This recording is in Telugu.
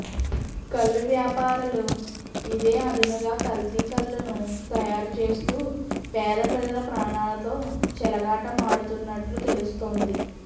కల్లు వ్యాపారలు ఇదే అదునుగా కల్తీ కల్లును తయారు చేస్తూ పేద ప్రజల ప్రాణాలతో చెలగాటమాడుతున్నట్టు తెలుస్తోంది